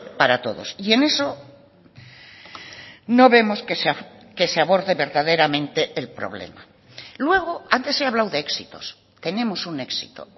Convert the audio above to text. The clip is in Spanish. para todos y en eso no vemos que se aborde verdaderamente el problema luego antes he hablado de éxitos tenemos un éxito